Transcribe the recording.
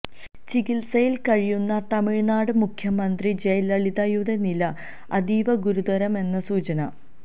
ചികിത്സയിൽ കഴിയുന്ന തമിഴ്നാട് മുഖ്യമന്ത്രി ജയലളിതയുടെ നില അതീവ ഗുരുതരമെന്ന് സൂചന